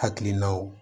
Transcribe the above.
Hakilinaw